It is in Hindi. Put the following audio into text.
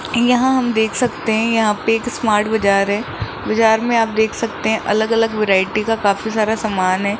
यहां हम देख सकते हैं यहां पे एक स्मार्ट बाजार है बाजार में आप देख सकते हैं अलग अलग वैरायटी का काफी सारा सामान है।